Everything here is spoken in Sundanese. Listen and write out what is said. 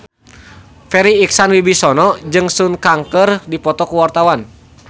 Farri Icksan Wibisana jeung Sun Kang keur dipoto ku wartawan